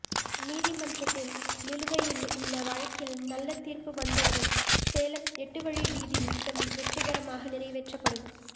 நீதிமன்றத்தில் நிலுவையில் உள்ள வழக்கில் நல்ல தீர்ப்பு வந்தவுடன் சேலம் எட்டு வழி வீதி திட்டம் வெற்றிகரமாக நிறைவேற்றப்படும்